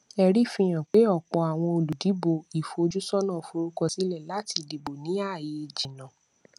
ẹrí fihàn pé ọpọ àwọn olùdìbò ìfojúsọnà forúkọ sílẹ láti dìbò ní ààyè jìnnà